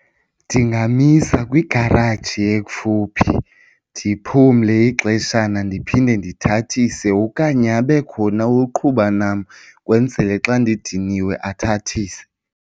Ndingamisa kwigaraji ekufuphi ndiphumle ixeshana ndiphinde ndithathise okanye abe khona oqhuba nam kwenzele xa ndidiniwe athathise.